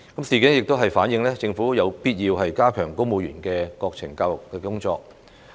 事件亦反映，政府有必要加強公務員的國情教育工作。